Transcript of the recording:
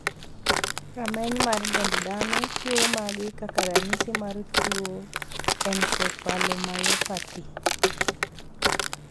Rameny mar dend dhano chiwo magi kaka ranyisi mar tuo Encephalomyopathy.